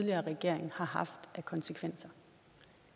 i regering har haft af konsekvenser